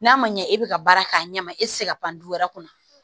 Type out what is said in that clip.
N'a ma ɲɛ e bɛ ka baara k'a ɲɛma e tɛ se ka pan du wɛrɛ kɔnɔ